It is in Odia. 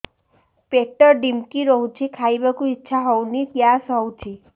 ପେଟ ଢିମିକି ରହୁଛି ଖାଇବାକୁ ଇଛା ହଉନି ଗ୍ୟାସ ହଉଚି